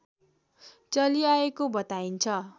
चलिआएको बताइन्छ